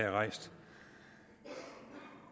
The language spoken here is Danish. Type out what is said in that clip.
er rejst